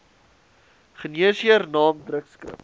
geneesheer naam drukskrif